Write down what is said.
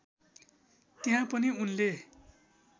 त्यहाँ पनि उनले